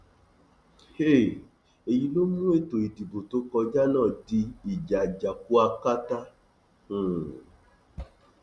um èyí ló mú ètò ìdìbò tó kọjá náà di ìjà àjàkú akátá um